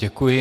Děkuji.